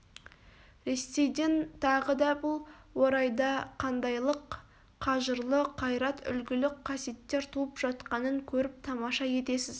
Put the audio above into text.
ресейден тағы да бұл орайда қандайлық қажырлы қайрат үлгілі қасиеттер туып жатқанын көріп тамаша етесіз